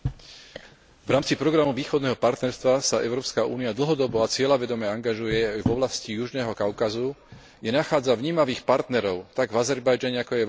V rámci programu Východného partnerstva sa Európska únia dlhodobo a cieľavedome angažuje v oblasti južného Kaukazu, kde nachádza vnímavých partnerov tak v Azerbajdžane, ako aj v Arménsku.